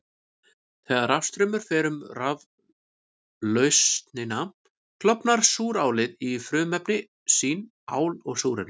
Þegar rafstraumur fer um raflausnina klofnar súrálið í frumefni sín, ál og súrefni.